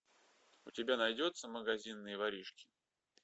у тебя найдется магазинные воришки